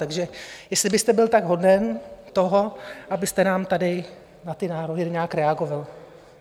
Takže jestli byste byl tak hoden toho, abyste nám tady na ty návrhy nějak reagoval.